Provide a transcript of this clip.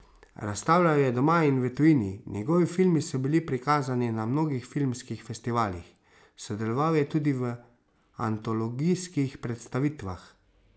Razstavljal je doma in v tujini, njegovi filmi so bili prikazani na mnogih filmskih festivalih, sodeloval je tudi v antologijskih predstavitvah.